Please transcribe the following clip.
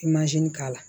I mazini k'a la